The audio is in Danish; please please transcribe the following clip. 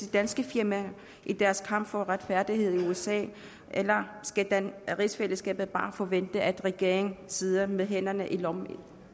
danske firma i deres kamp for retfærdighed i usa eller skal rigsfællesskabet bare forvente at regeringen sidder med hænderne i lommen i